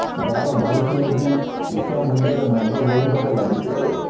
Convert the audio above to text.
ଦର ବଢ଼ିଥିଲେ ବି ଉଚ୍ଚା ମୂଲ୍ୟରେ ମଦ ବୋହିବାରେ ଲାଗିଥିଲେ